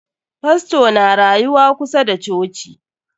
Fastor na rayuwa kusa da coci.